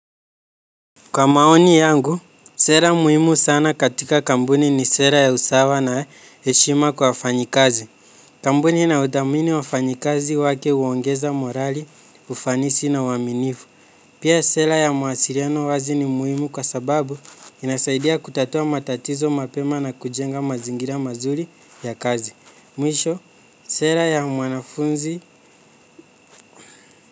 Kwa maoni yangu, sera muhimu sana katika kambuni ni sera ya usawa na eshima kwa wafanyi kazi. Kambuni inayoutamini wa fanyi kazi wake uongeza morali, ufanisi na waminifu. Pia sera ya mawasiriano wazi ni muhimu kwa sababu inasaidia kutatua matatizo mapema na kujenga mazingira mazuri ya kazi. Mwisho, sera ya mwanafunzi.